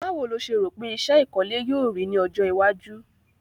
Báwo lo se rò pe isẹ́ ìkọ́lé yio rí ni ojó iwájú